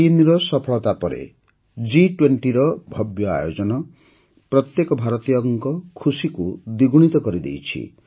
୩ ର ସଫଳତା ପରେ ଜି୨୦ର ଭବ୍ୟ ଆୟୋଜନ ପ୍ରତ୍ୟେକ ଭାରତୀୟଙ୍କ ଖୁସିକୁ ଦ୍ୱିଗୁଣିତ କରିଦେଇଛି